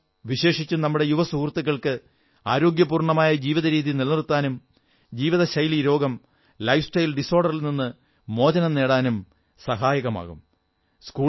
യോഗ വിശേഷിച്ചും നമ്മുടെ യുവസുഹൃത്തുക്കൾക്ക് ആരോഗ്യപൂർണ്ണമായ ജീവിത രീതി നിലനിർത്താനും ജീവിതശൈലീരോഗങ്ങളിൽ ലൈഫ്സ്റ്റൈൽ ഡിസ്ഓർഡറിൽ നിന്നു മോചനം നേടാനും സാഹയകമാകും